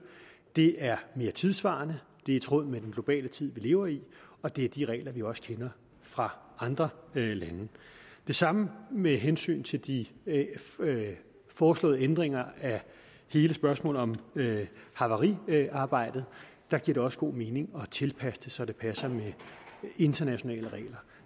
det er mere tidssvarende det er i tråd med den globale tid vi lever i og det er de regler vi også kender fra andre lande det samme med hensyn til de foreslåede ændringer af hele spørgsmålet om havariarbejdet der giver det også god mening at tilpasse det så det passer med internationale regler